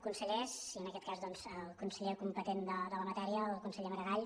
consellers i en aquest cas doncs el conseller competent de la matèria el conseller maragall